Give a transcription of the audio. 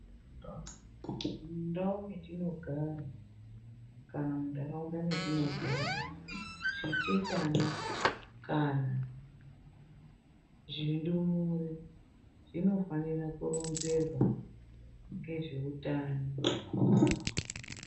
Mundau metinogara, kana muntaraunda metinogara, zvichechana kana zvindumure ,zvinofanira kuronzerwa ngezveutano.